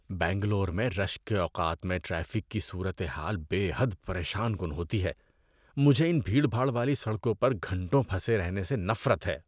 بنگلور میں رش کے اوقات میں ٹریفک کی صورت حال بے حد پریشان کن ہوتی ہے۔ مجھے ان بھیڑ بھاڑ والی سڑکوں پر گھنٹوں پھنسے رہنے سے نفرت ہے۔